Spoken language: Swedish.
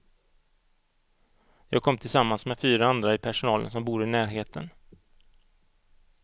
Jag kom tillsammans med fyra andra i personalen som bor i närheten.